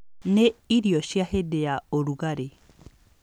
Nĩ irio cia hĩndĩ ya ũrugarĩ.